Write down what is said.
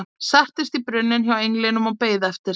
Settist á brunninn hjá englinum og beið eftir